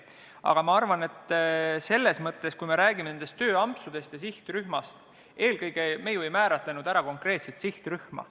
Aga ma arvan, et kui me räägime nendest tööampsudest ja sihtrühmast, siis me ei olegi määratlenud ära mingit konkreetset sihtrühma.